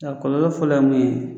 A kɔlɔ fɔlɔ ye mun ye